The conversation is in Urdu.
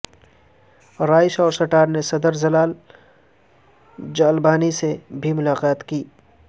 رائس اور سٹرا نے صدر جلال ظالبانی سے بھی ملاقات کی